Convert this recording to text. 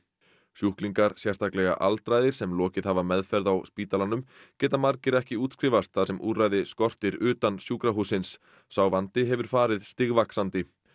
sjúklingar sérstaklega aldraðir sem lokið hafa meðferð á spítalanum geta margir ekki útskrifast þar sem úrræði skortir utan sjúkrahússins sá vandi hefur farið stigvaxandi